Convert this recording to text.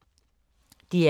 DR P2